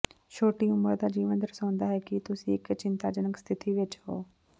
ਛੋਟੀ ਉਮਰ ਦਾ ਜੀਵਨ ਦਰਸਾਉਂਦਾ ਹੈ ਕਿ ਤੁਸੀਂ ਇੱਕ ਚਿੰਤਾਜਨਕ ਸਥਿਤੀ ਵਿੱਚ ਹੋ